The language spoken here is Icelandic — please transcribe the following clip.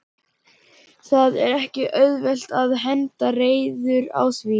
Það er ekki auðvelt að henda reiður á því?